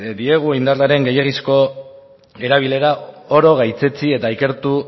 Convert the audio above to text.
diegu indarraren gehiegizko erabilera oro gaitzetsi eta ikertu